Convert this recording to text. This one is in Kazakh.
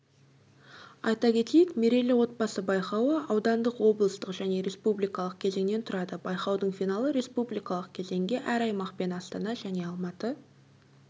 айта кетейік мерейлі отбасы байқауы аудандық облыстық және республикалық кезеңнен тұрады байқаудың финалы республикалық кезеңге әр аймақ пен астана және алматы